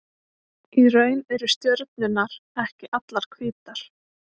Í raun eru stjörnurnar ekki allar hvítar.